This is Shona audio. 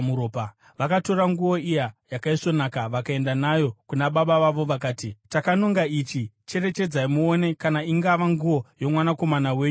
Vakatora nguo iya yakaisvonaka vakaenda nayo kuna baba vavo vakati, “Takanonga ichi. Cherechedzai muone kana ingava nguo yomwanakomana wenyu here.”